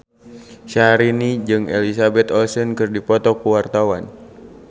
Syahrini jeung Elizabeth Olsen keur dipoto ku wartawan